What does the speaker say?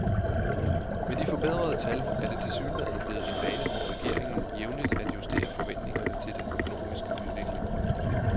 Med de forbedrede tal er det tilsyneladende blevet en vane for regeringen jævnligt at justere forventningerne til den økonomiske udvikling.